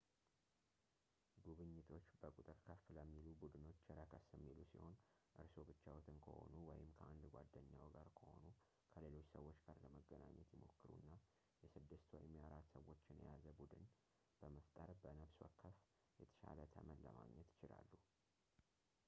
ጉብኝቶች በቁጥር ከፍ ለሚሉ ቡድኖች ረከስ የሚሉ ሲሆን እርስዎ ብቻዎትን ከሆኑ ወይም ከአንድ ጓደኛዎ ጋር ከሆኑ ከሌሎች ሰዎች ጋር ለመገናኘት ይሞክሩና የስድስት ወይም የአራት ሰዎችን የያዘ ቡድን በመፍጠር በነብስ ወከፍ የተሻለ ተመን ለማግኘት ይችላሉ